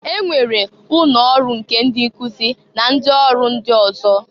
E nwere ụnọ ọrụ nke ndị nkụzị na ndị ọrụ ndị ọzọ.